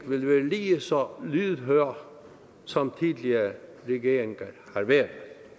vil være lige så lydhør som tidligere regeringer har været